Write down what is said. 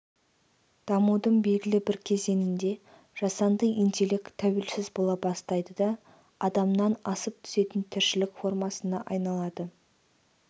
дамудың белгілі бір кезеңінде жасанды интелект тәуелсіз бола бастайды да адамнан асып түсетін тіршілік формасына айналады